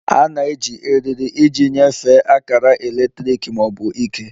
A na-eji eriri iji nyefee akara eletrik ma ọ bụ ike